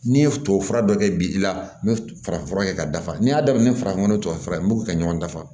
N'i ye tubabufura dɔ kɛ bi i la n bɛ farafin fura kɛ ka dafa n'i y'a daminɛ farafin nɔgɔ tubabu fura n b'u ka ɲɔgɔn dafa